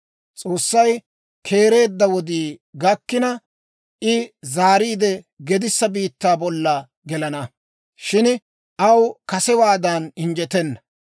«S'oossay keereedda wodii gakkina, I zaariide gedissa biittaa bolla gelana; shin aw kasewaadan injjetenna.